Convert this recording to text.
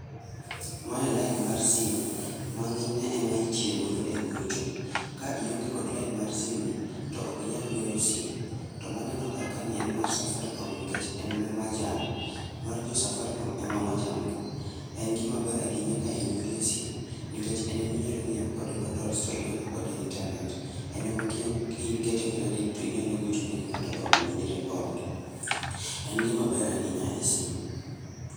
Mae en lain mar sim ma ng'eny ne ema itiyo godo e gocho. Ka ionge gi lain mar simni to ok inyal goyo sim. To maneno kar kaeni en mara Safaricom nikech omanjan. Mar jo Safaricom en omajan ga, en gima ber ahinya ka in godo e sim nikech en ema inyalo nyiewo kode bundle to idonjo kode e internet, in ema ka ikete credit to inyalo gocho ne go ng'ato to unyalo winjore kode. En gima ber ahinya e sim.